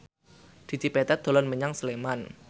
Dedi Petet dolan menyang Sleman